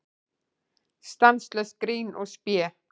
Stanslaust grín og spé.